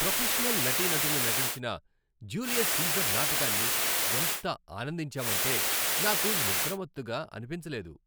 Professional నటీనటులు నటించిన Julius Caesar నాటకాన్ని ఎంత ఆనందించామంటే నాకు నిద్రమత్తుగా అనిపించలేదు.